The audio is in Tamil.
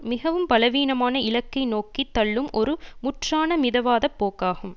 மிகவும் பலவீனமான இலக்கை நோக்கி தள்ளும் ஒரு முற்றான மிதவாதப் போக்காகும்